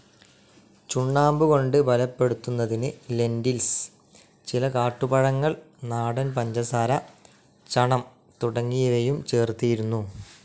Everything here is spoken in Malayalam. ചുണ്ണാമ്പുകൊണ്ട് ബലപ്പെടുത്തുന്നതിന് ലെൻ്റിൽസ്, ചില കാട്ടുപഴങ്ങൾ, നാടൻ പഞ്ചസാര, ചണം തുടങ്ങിയവയും ചേർത്തിരുന്നു.